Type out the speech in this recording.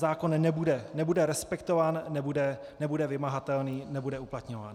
Zákon nebude respektován, nebude vymahatelný, nebude uplatňován.